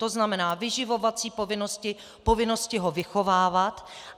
To znamená, vyživovací povinnosti, povinnosti ho vychovávat.